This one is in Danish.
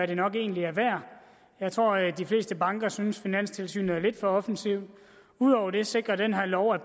det nok egentlig er værd jeg tror de fleste banker synes finanstilsynet er lidt for offensive ud over det sikrer den her lov at